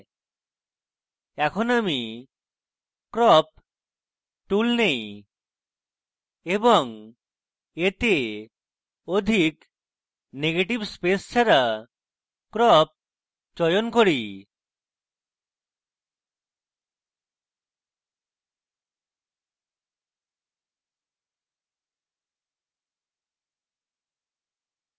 এখন আমি crop tool নেই এবং এতে অধিক negative space ছাড়া crop চয়ন করি